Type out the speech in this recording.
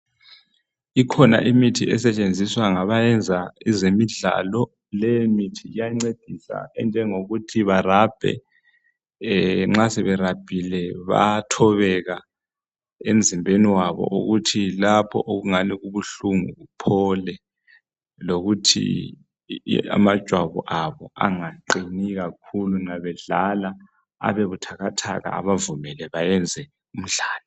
Ikhona imithi esetshenziswa ngabayenza ezemidlalo leyimithi iyancedisa enjengokuthi barabhe nxa sebe rabhile bayathobeka emzimbeni wabo ukuthi lapho okungani kubuhlungu kuphole lokuthi amajwabu abo engaqini kakhulu nxa bedlala abebuthakathaka bayenze imidlalo